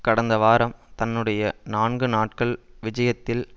கடந்த வாரம் தன்னுடைய நான்கு நாட்கள் விஜயத்தில்